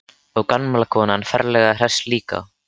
Og gamla konan ferlega hress líka.